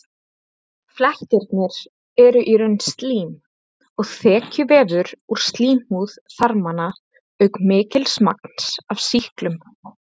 Flekkirnir eru í raun slím og þekjuvefur úr slímhúð þarmanna auk mikils magns af sýklinum.